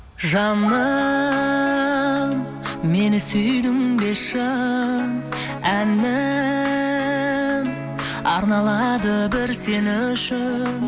жаным мені сүйдің бе шын әнім арналады бір сен үшін